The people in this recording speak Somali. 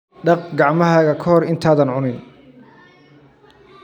Dhaq gacmahaaga ka hor intaadan cunin.